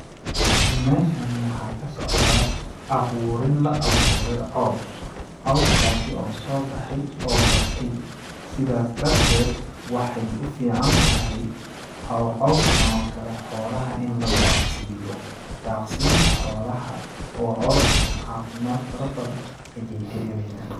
Meeshani waxaa ka socdaa abuurin la abuure caws ,cawskaasi oo soo baxay oo batay ,sidaas darteed waxeey u fiican tahay cawsakaan oo kale in xoolaha la daaq siiyo, daaq siinta xoolaha oo cawskan cafimaad fara badan ayeey ka helayaan.